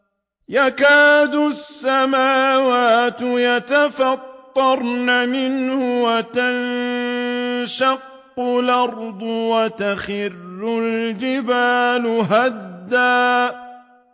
تَكَادُ السَّمَاوَاتُ يَتَفَطَّرْنَ مِنْهُ وَتَنشَقُّ الْأَرْضُ وَتَخِرُّ الْجِبَالُ هَدًّا